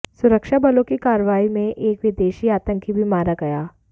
सुरक्षाबलों की कार्रवाई में एक विदेशी आतंकी भी मारा गया